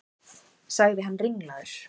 sagði hann ringlaður.